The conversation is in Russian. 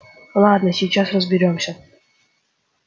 ладно сейчас разберёмся